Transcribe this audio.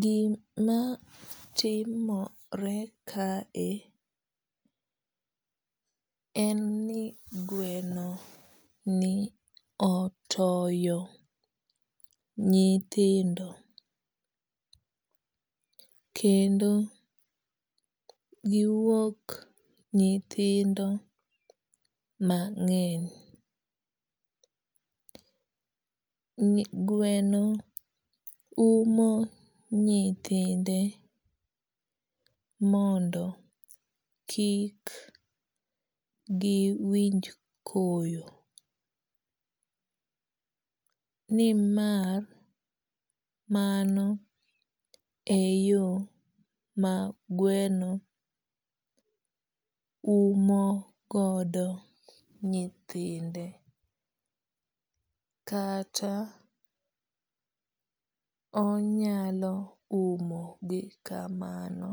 Gima timore kae en ni gweno ni otoyo nyithindo. Kendo giwuok nyithindo mang'eny. Gweno umo nyithinde mondo kik giwinj koyo. Nimar mano e yo ma gweno umo godo nyithinde kata onyalo umo gi kamano